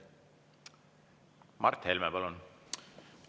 Mart Helme, palun!